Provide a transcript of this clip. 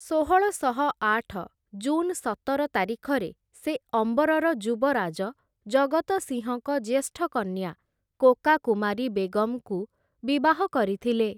ଷୋହଳଶହ ଆଠ ଜୁନ୍ ସତର ତାରିଖରେ ସେ ଅମ୍ବରର ଯୁବରାଜ, ଜଗତ ସିଂହଙ୍କ ଜ୍ୟେଷ୍ଠ କନ୍ୟା, କୋକା କୁମାରୀ ବେଗମ୍‌ଙ୍କୁ ବିବାହ କରିଥିଲେ ।